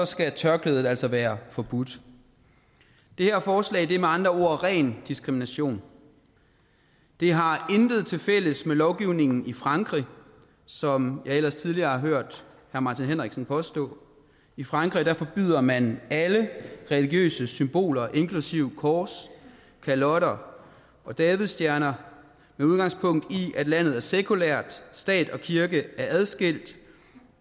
skal tørklædet altså være forbudt det her forslag er med andre ord ren diskrimination det har intet tilfælles med lovgivningen i frankrig som jeg ellers tidligere har hørt herre martin henriksen påstå i frankrig forbyder man alle religiøse symboler inklusive kors kalotter og davidsstjerner med udgangspunkt i at landet er sekulært at stat og kirke er adskilt